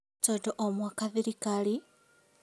Tondũ o mwaka thirikarĩ